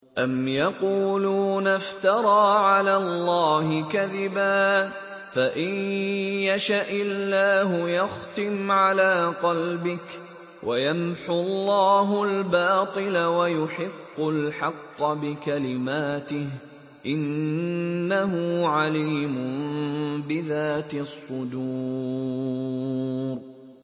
أَمْ يَقُولُونَ افْتَرَىٰ عَلَى اللَّهِ كَذِبًا ۖ فَإِن يَشَإِ اللَّهُ يَخْتِمْ عَلَىٰ قَلْبِكَ ۗ وَيَمْحُ اللَّهُ الْبَاطِلَ وَيُحِقُّ الْحَقَّ بِكَلِمَاتِهِ ۚ إِنَّهُ عَلِيمٌ بِذَاتِ الصُّدُورِ